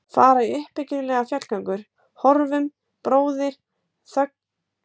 Fara í uppbyggilegar fjallgöngur: horfum, bróðir, þögulir á fegurð himinsins við sólarlag.